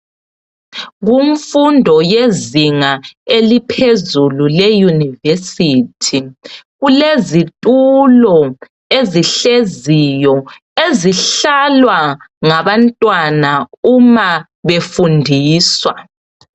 Kumfundo yezinga eliphezulu leyunivesithi kulezitulo ezihleziyo ezihlalwa ngabantwana uma befundiswa.